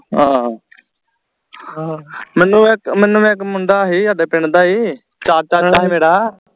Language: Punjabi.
ਆਹ ਮੈਨੂੰ ਇਕ ਮੈਨੂੰ ਇਕ ਮੁੰਡਾ ਹੀ ਸਾਡੇ ਪਿੰਡ ਦਾ ਹੀ ਚਾਚਾ ਹੀ ਮੇਰਾ